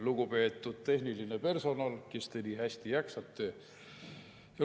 Lugupeetud tehniline personal, kes te nii hästi jaksate!